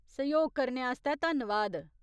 सैह्‌योग करने आस्तै धन्नवाद।